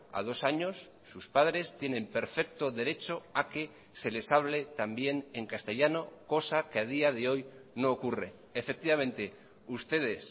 a dos años sus padres tienen perfecto derecho a que se les hable también en castellano cosa que a día de hoy no ocurre efectivamente ustedes